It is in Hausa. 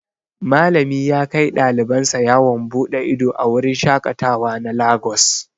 Malami yakai ɗaliban sa yawon bude ido a wurin shaƙatawa na lagos.